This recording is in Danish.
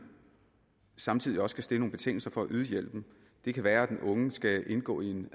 samtidig også kan stille nogle betingelser for at yde hjælpen det kan være at den unge skal indgå i